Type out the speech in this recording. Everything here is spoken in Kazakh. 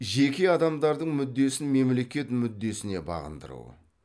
жеке адамдардың мүддесін мемлекет мүддесіне бағындыру